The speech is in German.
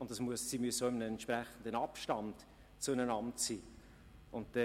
Zudem müssen sei sich in einem entsprechenden Abstand zueinander befinden.